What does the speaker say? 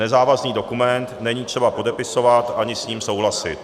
Nezávazný dokument není třeba podepisovat ani s ním souhlasit.